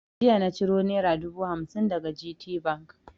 Jiya na ciro naira dubu hamsin daga GTBank.